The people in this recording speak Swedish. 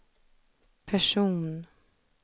person